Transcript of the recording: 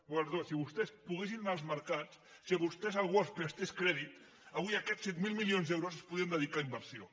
perdó si vostès poguessin anar als mer·cats si a vostès algú els prestés crèdit avui aquests set mil milions d’euros es podrien dedicar a inversió